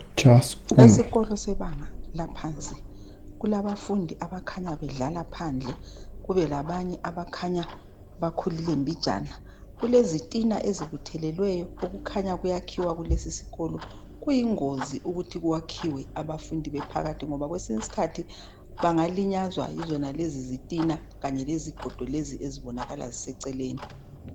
Esikolo sebanga laphansi kulabafundi abakhanya bedlala phandle kube labanye abakhanya bakhulile mbinjani kulesitina esibuthelweyo okukhanya kuyakhiwa kulesikolo kuyigozi ukuthi kwakhiwe abafundi bephakathi ngoba kwesinye isikhathi bangalinyazwa yizonalezi zitina kanye lezigodo lezi ezibonakala ziseceleni.